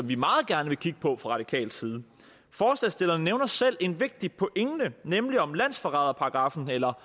vi meget gerne kigge på fra radikal side forslagsstillerne nævner selv en vigtig pointe nemlig om landsforræderparagraffen eller